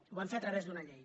ho vam fer a través d’una llei